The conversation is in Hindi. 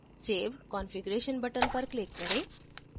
save configuration button पर click करें